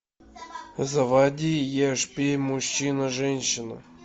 заводи ешь пей мужчина женщина